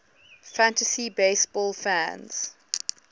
fantasy baseball fans